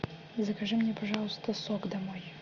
закажи мне пожалуйста сок домой